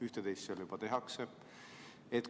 Üht-teist seal juba tehakse.